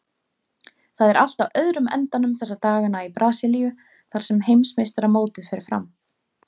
Það er allt á öðrum endanum þessa dagana í Brasilíu þar sem heimsmeistaramótið fer fram.